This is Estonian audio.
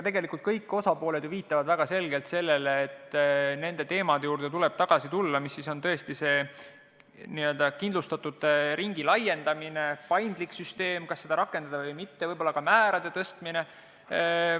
Tegelikult kõik osapooled ju viitavad väga selgelt sellele, et nende teemade juurde tuleb tagasi tulla – kindlustatute ringi laiendamine, paindlik süsteem, kas seda rakendada või mitte, võib-olla ka määrade tõstmine.